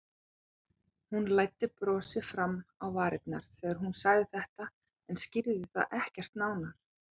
Hún læddi brosi fram á varirnar þegar hún sagði þetta en skýrði það ekkert nánar.